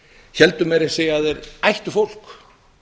héldu meira að segja að þeir ættu fólk